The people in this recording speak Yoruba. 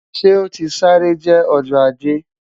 Ṣe o ti sare jẹ Ọjọ Aje?